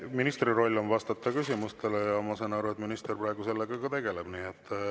Ministri roll on vastata küsimustele ja ma saan aru, et minister praegu sellega tegeleb.